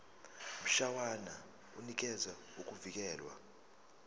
mshwana unikeza ukuvikelwa